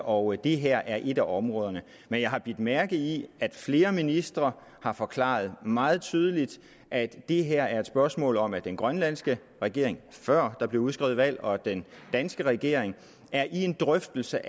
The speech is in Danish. og det her er et af områderne men jeg har bidt mærke i at flere ministre har forklaret meget tydeligt at det her er et spørgsmål om at den grønlandske regering før der blev udskrevet valg og den danske regering er i en drøftelse